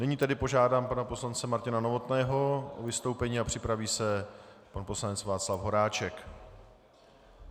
Nyní tedy požádám pana poslance Martina Novotného o vystoupení a připraví se pan poslanec Václav Horáček.